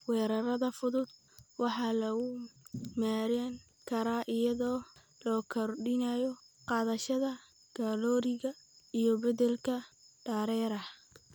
Weerarada fudud waxaa lagu maareyn karaa iyadoo la kordhinayo qaadashada kalooriga iyo beddelka dareeraha.